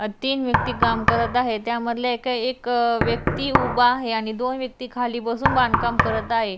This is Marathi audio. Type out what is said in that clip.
अ तीन व्यक्ति काम करत आहेत त्यामधला एक व्यक्ति उभा आहे आणि दोन व्यक्ति खाली बसून बांधकाम करत आहे.